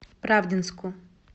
правдинску